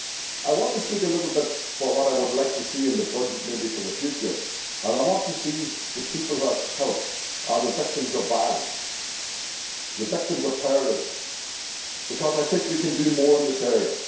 I want to speak a little bit on what I would like to see in the budget for the future. I want to see that the people it has helped are the victims of violence, the victims of terrorism, because I think we can do more in this area.